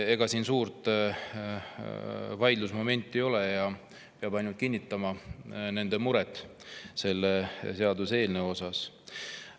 Ega suurt vaidlusmomenti siin ei ole ja peab ainult kinnitama nende muret selle seaduseelnõu pärast.